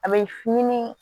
A bɛ fini